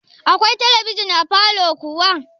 Akwai talabijin a falow kuwa?